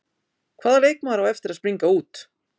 Hvaða leikmaður á eftir að springa út?